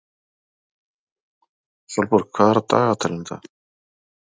Sólborg, hvað er á dagatalinu í dag?